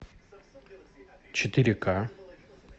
четыре ка